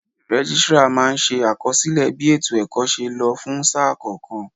Registrar máa ń ṣe àkọsílẹ̀ bí ètò ẹ̀kọ́ ṣe lọ fún sáà kọ̀ọ̀kan.